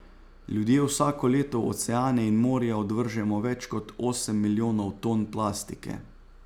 Ljudje vsako leto v oceane in morja odvržemo več kot osem milijonov ton plastike.